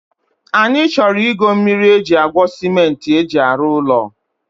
Anyị chọrọ ịgo mmiri e ji agwo cement e ji arụ ụlọ